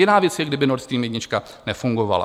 Jiná věc je, kdyby Nord Stream 1 nefungoval.